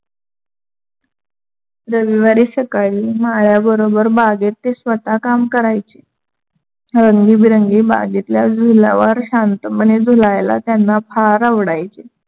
रविवारी सकाळी माळ्याबरोबर बागेत ते स्वता काम करायचे. रंगीबेरंगी बागेतल्या झुल्‍यावर शांतपणे झुलायला त्यांना फार आवडायचे.